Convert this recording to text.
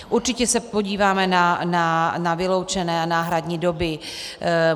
Určitě se podíváme na vyloučené a náhradní doby.